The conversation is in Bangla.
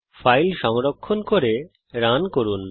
ফাইল সংরক্ষণ করে রান করুন